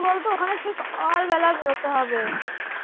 সকাল বেলা যেতে হবে